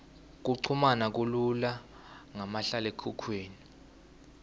kuchumana kulula ngamahlalekhukhwini